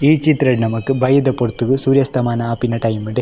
ಈ ಚಿತ್ರಡ್ ನಮಕ್ ಬಯ್ಯದ ಪೊರ್ತುಗು ಸೂರ್ಯಸ್ತಮ ಆಪಿನ ಟೈಮ್ ಡೆ.